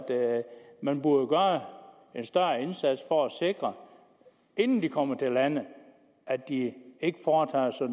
man burde gøre en større indsats for at sikre inden de kommer til landet at de ikke foretager sig